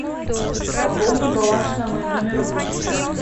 пополни баланс на мой номер быстро